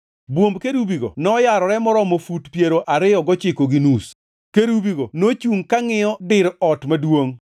Bwomb kerubigo noyarore maromo fut piero ariyo gochiko gi nus. Kerubigo nochungʼ ka ngʼiyo dir ot maduongʼ.